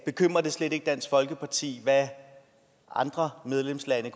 bekymrer det slet ikke dansk folkeparti hvad andre medlemslande